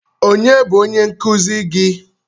Onye bụ onye nkụzi gi?